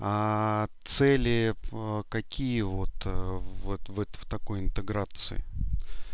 а цели какие вот в такой интеграции